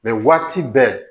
Mɛ waati bɛɛ